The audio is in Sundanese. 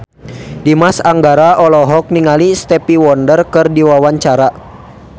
Dimas Anggara olohok ningali Stevie Wonder keur diwawancara